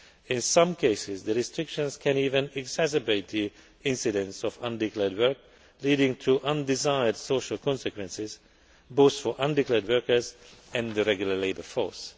In some cases, the restrictions can even exacerbate the incidence of undeclared work, leading to undesired social consequences both for undeclared workers and the regular labour force.